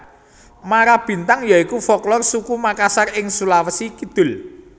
Marabintang ya iku folklor suku Mangkasar ing Sulawesi Kidul